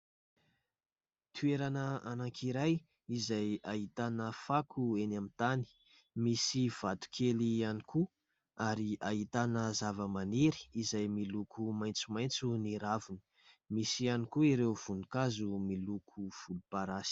Toerana anakiray izay ahitana fako eny amin' ny tany. Misy vatokely ihany koa ary ahitana zava-maniry izay miloko maintsomaintso ny raviny. Misy ihany koa ireo voninkazo miloko volom-parasy.